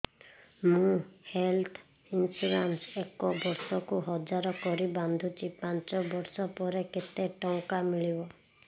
ମୁ health insurance ଏକ ବର୍ଷକୁ ହଜାର କରି ବାନ୍ଧୁଛି ପାଞ୍ଚ ବର୍ଷ ପରେ କେତେ ଟଙ୍କା ମିଳିବ